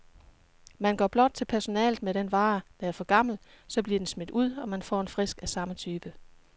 Man går blot til personalet med den vare, der er for gammel, så bliver den smidt ud, og man får en frisk af samme type.